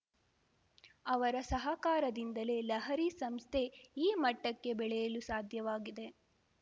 ಅವರ ಸಹಕಾರದಿಂದಲೇ ಲಹರಿ ಸಂಸ್ಥೆ ಈ ಮಟ್ಟಕ್ಕೆ ಬೆಳೆಯಲು ಸಾಧ್ಯವಾಗಿದೆ